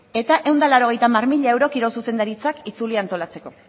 eta ehun eta laurogeita hamar mila euro kirol zuzendaritzak itzulia antolatzeko